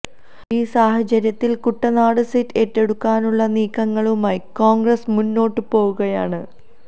ഈ സാഹചര്യത്തിൽ കുട്ടനാട് സീറ്റ് ഏറ്റെടുക്കാനുള്ള നീക്കങ്ങളുമായി കോൺഗ്രസ് മുന്നോട്ടു പോകുകയാണ്